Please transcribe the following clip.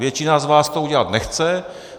Většina z vás to udělat nechce.